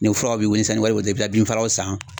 Nin furaw be wele sanni wari bi bolo i be binfalanw san